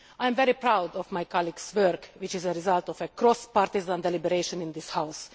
I am very proud of my colleague's work, which is the result of cross party deliberations in this House.